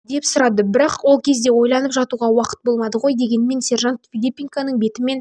деп сұрады бірақ ол кезде ойланып жатуға уақыт болмады ғой дегенмен сержант филипенконың беті мен